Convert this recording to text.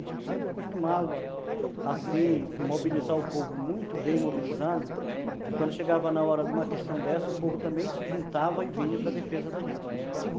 A gente sempre costumava assim, mobilizar o povo muito bem, mobilizando, que quando chegava na hora de uma questão dessa, o povo também se juntava e vinha para defesa da gente, né? Hum.